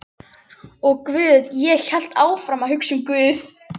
Og guð, ég hélt áfram að hugsa um guð.